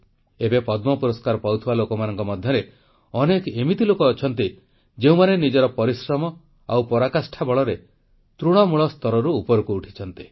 ଏବେ ପଦ୍ମ ପୁରସ୍କାର ପାଉଥିବା ଲୋକମାନଙ୍କ ମଧ୍ୟରେ ଅନେକ ଏମିତି ଲୋକ ଅଛନ୍ତି ଯେଉଁମାନେ ନିଜର ପରିଶ୍ରମ ଓ ପରାକାଷ୍ଠା ବଳରେ ତୃଣମୂଳ ସ୍ତରରୁ ଉପରକୁ ଉଠିଛନ୍ତି